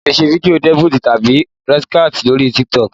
O lè ṣe fídíò Duet tàbí React lórí Titok